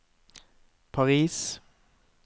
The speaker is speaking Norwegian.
Paris